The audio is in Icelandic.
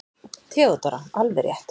THEODÓRA: Alveg rétt!